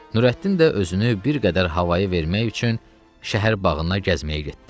Nurəddin də özünü bir qədər havaya vermək üçün şəhər bağına gəzməyə getdi.